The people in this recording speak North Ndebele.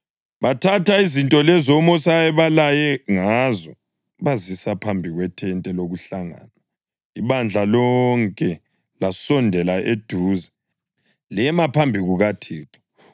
Bathatha izinto lezo uMosi ayebalaye ngazo bazisa phambi kwethente lokuhlangana, ibandla lonke lasondela eduze lema phambi kukaThixo.